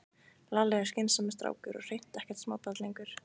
Lalli er skynsamur strákur og hreint ekkert smábarn lengur.